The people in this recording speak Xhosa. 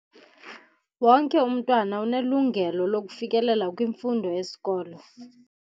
Wonke umntwana unelungelo lokufikelela kwimfundo yesikolo.